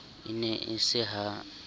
e ne e se ha